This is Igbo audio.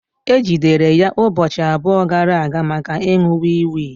E jidere ya ụbọchị abụọ gara aga maka ịṅụ wii wii